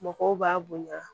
Mɔgɔw b'a bonya